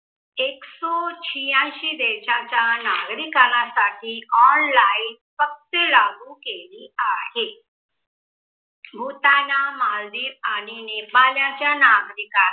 एक्सौ छीयांसी देशाच्या नागरीकानासाठी online पत्ते लागू केली आहे. भूताना, मालदीव आणि नेपालाच्या नागरिकासाठी